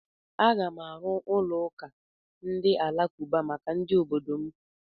Aga m arụ ụlọ ụka ndị alakụba maka ndị obodo m.